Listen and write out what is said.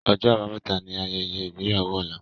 Ọjọ́ Àbámẹ̀ta ni Ayẹyẹ ìgbéyàwó Ọlá